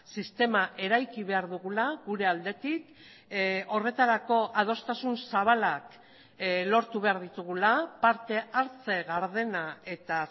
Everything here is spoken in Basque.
sistema eraiki behar dugula gure aldetik horretarako adostasun zabalak lortu behar ditugula parte hartze gardena eta